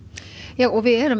já og við erum